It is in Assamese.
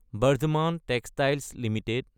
Bardhaman textiles Ltd